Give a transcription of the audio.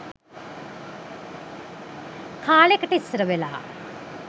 කාලෙකට ඉස්‌සර වෙලා